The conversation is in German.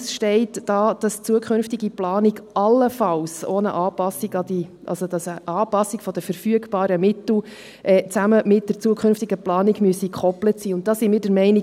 Es steht da, dass in der zukünftigen Planung auch eine Anpassung an die … also, dass eine Anpassung der verfügbaren Mittel an die zukünftige Planung gekoppelt sein müsse, und da sind wir der Meinung: